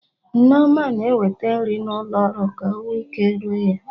Nneoma na-eweta nri n'ụlo ọrụ ka ọ nwee ike ree ya